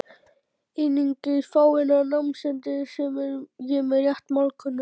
Einungis fáeina námsmenn, sem ég er rétt málkunnugur.